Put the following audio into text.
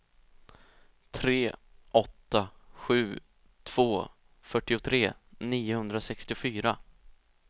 tre åtta sju två fyrtiotre niohundrasextiofyra